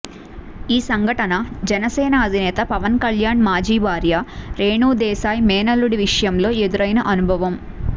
ఈ సంఘటన జనసేన అధినేత పవన్ కల్యాణ్ మాజీ భార్య రేణుదేశాయ్ మేనల్లుడి విషయంలో ఎదురైన అనుభవం